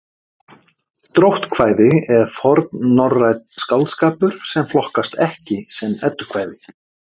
Dróttkvæði er fornnorrænn skáldskapur sem flokkast ekki sem eddukvæði.